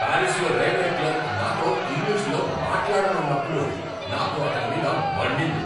పారిస్లో railway clerk నాతో ఇంగ్లీష్లో మాట్లాడనన్నప్పుడు నాకు అతడి మీద మండింది.